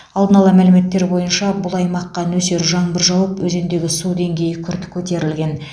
алдын ала мәліметтер бойынша бұл аймаққа нөсер жаңбыр жауып өзендегі су деңгейі күрт көтерілген